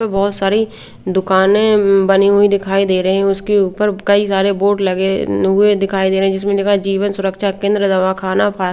और बहुत सारी दुकानें बनी हुई दिखाई दे रहे हैं उसके ऊपर कई सारे बोर्ड लगे हुए दिखाई दे रहे हैं जिसमें लिखा है जीवन सुरक्षा केंद्र दवाखाना फा--